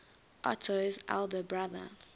otto's elder brother